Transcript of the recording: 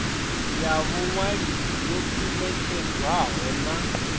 ya vhuṅwalisi yo ṱumetshedzwaho na